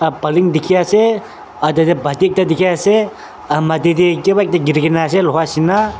ap paloon teki ase aro tati pati ekta teki ase umm mati teh kiba ekta kerikina ase loha neshina.